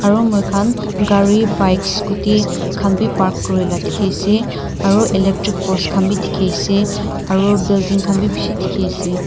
aro moikhan gari bikes scooty khan bi park kurila dikhiase aro electric post khan bi dikhiase aro building khan bi bishi dikhiase.